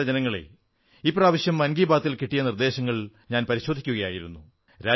പ്രിയപ്പെട്ട ജനങ്ങളേ ഇപ്രാവശ്യം മൻ കീ ബാത്തിന് കിട്ടിയ നിർദ്ദേശങ്ങൾ പരിശോധിക്കയായിരുന്നു